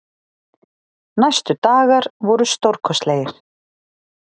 Næstu dagar voru stórkostlegir.